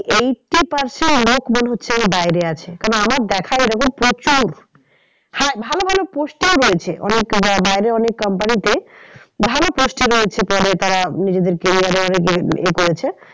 Eighty percent লোক মনে হচ্ছে যে বাইরে আছে। কেন আমার দেখা এরকম প্রচুর হ্যাঁ ভালো ভালো post এই রয়েছে অনেক বাইরে অনেক company তে ভালো post এ রয়েছে বলে তারা নিজেদেরকে career এ অনেক এ করেছে